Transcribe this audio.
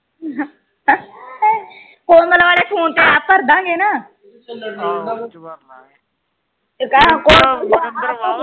ਕੋਮਲ ਆਲੇ ਫੋਨ ਤੇ ਐੱਪ ਭਰਦਾਂਗੇ ਨਾ